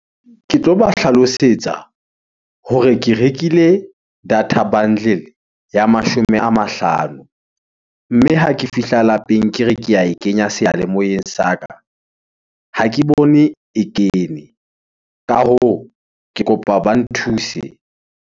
Ke tlo ba hlalosetsa hore ke rekile data bundle ya mashome a mahlano. Mme ha ke fihla lapeng ke re ke ae kenya seyalemoyeng sa ka, ha ke bone e kene. Ka hoo, ke kopa ba nthuse.